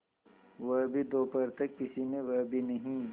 वह भी दोपहर तक किसी ने वह भी नहीं